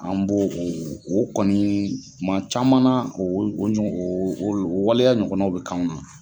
An bo o o kɔni kuma camanna o waleya ɲɔgɔnaw bɛ k'anw na.